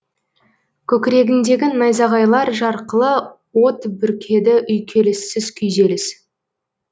көкірегіңдегі найзағайлар жарқылы от бүркеді үйкеліссіз күйзеліс